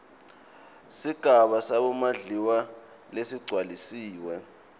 sigaba samondliwa lesigcwalisiwe